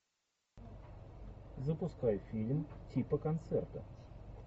запускай фильм типа концерта